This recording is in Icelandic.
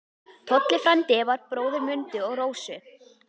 Tolli frændi var bróðir Mundu og Rósu.